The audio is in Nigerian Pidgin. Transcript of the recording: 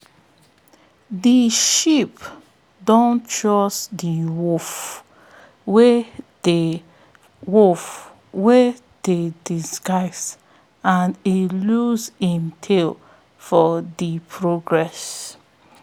de sheep don trust de wolf wey de wolf wey dey disguise and e lose im tail for de process